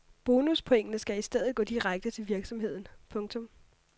Bonuspointene skal i stedet gå direkte til virksomheden. punktum